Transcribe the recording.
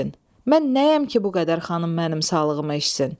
Mən nəyəm ki, bu qədər xanım mənim sağlığıma içsin?